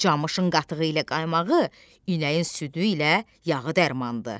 Camışın qatığı ilə qaymağı, inəyin südü ilə yağı dərmandır.